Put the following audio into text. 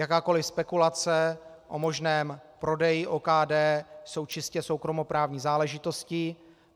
Jakékoli spekulace o možném prodeji OKD jsou čistě soukromoprávní záležitostí.